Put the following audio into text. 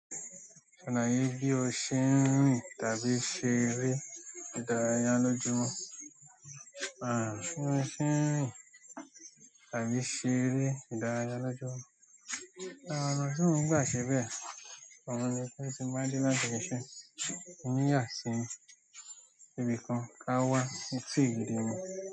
Ṣalaye bí o ṣe ń rìn tàbí ṣe eré ìdárayá lójúmọ́? Bí mo ṣe e rìn tàbí ṣe eré ìdárayá lójúmọ́. Àwọn ọ̀nà tí mo ń gba ṣe bẹ, ọun ni pé tí n bá dé láti ibi iṣẹ́, mo ń yasi ibìkan ká wá sí etí dè mú.